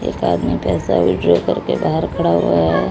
एक आदमी पैसा विथड्रॉ करके बाहर खड़ा हुआ है।